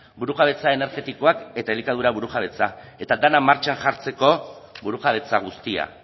burujabetza energetikoak eta elikadura burujabetza eta dena martxan jartzeko burujabetza guztia